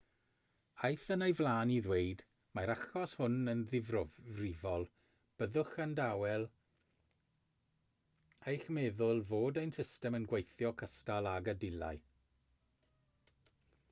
aeth yn ei flaen i ddweud mae'r achos hwn yn ddifrifol byddwch yn dawel eich meddwl fod ein system yn gweithio cystal ag y dylai